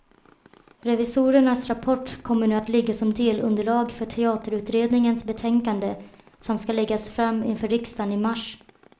Revisorernas rapport kommer nu att ligga som delunderlag för teaterutredningens betänkande som ska läggas fram inför riksdagen i mars.